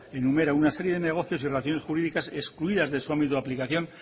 enumera una serie de negocios y relaciones jurídicas excluidas de su ámbito de aplicación